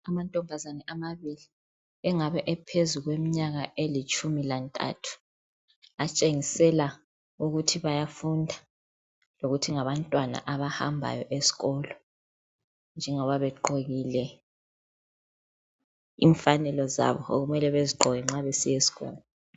Amantombazane engabe ephezuku kweminyaka elitshumi lantathu atshengisela ukuthi bayafunda lokuthi ngabantwana abahambayo esikolo njengoba begqokile imfanelo zabo okumele bezigqoke nxa besiya esikolo.